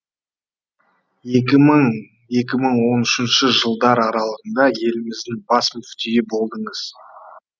екі мың екі мың он үшінші жылдар аралығында еліміздің бас мүфтиі болдыңыз